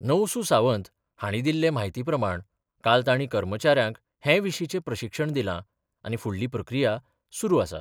नवसू सावंत हांणी दिल्ले माहिती प्रमाण काल तांणी कर्मचाऱ्यांक हे विशींचे प्रशिक्षण दिलां आनी फुडली प्रक्रिया सुरू आसा.